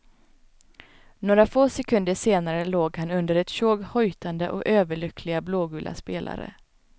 Några få sekunder senare låg han under ett tjog hojtande och överlyckliga blågula spelare.